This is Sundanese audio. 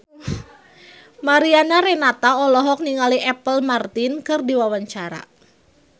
Mariana Renata olohok ningali Apple Martin keur diwawancara